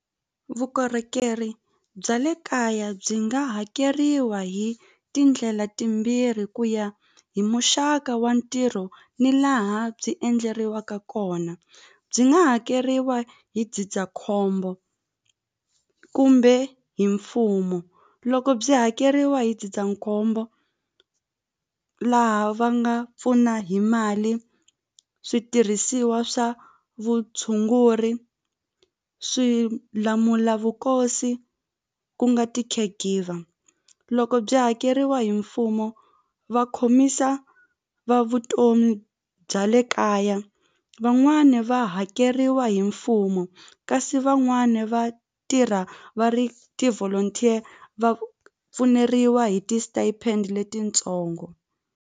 Vukorhokeri bya le kaya byi nga hakeriwa hi tindlela timbirhi ku ya hi muxaka wa ntirho ni laha byi endleriwaka kona byi nga hakeriwa hi ndzindzakhombo kumbe hi mfumo loko byi hakeriwa hi ndzindzakhombo laha va nga pfuna hi mali switirhisiwa swa vutshunguri swilamulavukosi ku nga ti-care giver loko byi hakeriwa hi mfumo va khomisa va vutomi bya le kaya van'wani va hakeriwa hi mfumo kasi van'wani va tirha va ri ti-volunteer va pfuneriwa hi ti-stipend letitsongo.